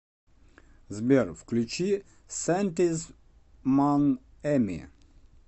сбер включи сантиз мон ами